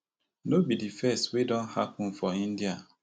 no be di first wey don happun for india